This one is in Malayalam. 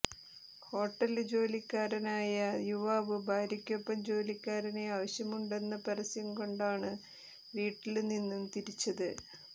ഹോട്ടല് ജോലിക്കാരനായ യുവാവ് ഭാര്യയ്ക്കൊപ്പം ജോലിക്കാരെ ആവശ്യമുണ്ടെന്ന പരസ്യം കണ്ടാണ് വീട്ടില് നിന്നും തിരിച്ചത്